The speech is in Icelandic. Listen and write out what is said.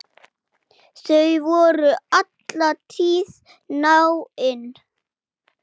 Þau voru alla tíð náin.